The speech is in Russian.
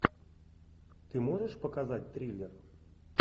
ты можешь показать триллер